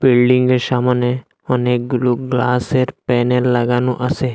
বিল্ডিংয়ের সামনে অনেকগুলো গ্লাসের প্যানেল লাগানো আসে।